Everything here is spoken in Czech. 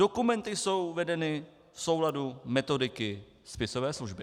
Dokumenty jsou vedeny v souladu metodiky spisové služby.